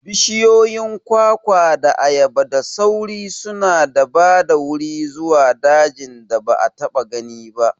Bishiyoyin kwakwa da ayaba da sauri suna ba da wuri zuwa dajin da ba a taɓa gani ba.